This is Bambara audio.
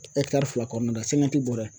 fila kɔnɔna bɔrɛ